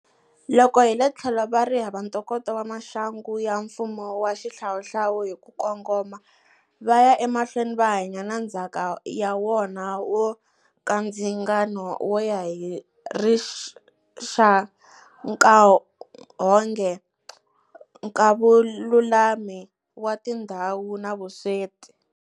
Loko hi le tlhelo va ri hava ntokoto wa maxangu ya mfumo wa xihlawuhlawu hi ku kongoma, va ya emahlweni va hanya na ndzhaka ya wona wo nkandzingano wo ya hi rixakanghohe, nkavululami wa tindhawu na vusweti.